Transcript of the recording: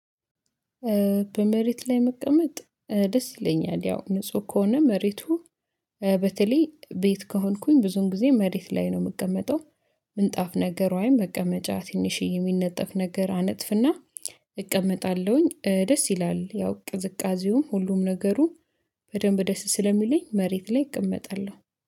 በመሬት ላይ መቀመጥ ደስ ይለኛል ያው ንጹህ ከሆነ መሬቱ በተለይ ቤት ከሆንኩኝ ብዙን ጊዜ መሬት ላይ ነው የምቀመጠው። ምንጣፍ ነገር ወይም መቀመጫ ትንሽዬ የሚነጠፍ ነገር አነጥፍና እቀመጣለሁኝ ደስ ይላል። ያው ቅዝቃዜውም ሁሉም ነገሩ በደንብ ደስ ስለሚለኝ መሬት ላይ እቀመጣለሁ